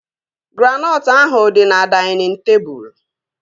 Granọtụ ahụ dị na dainịn tebụl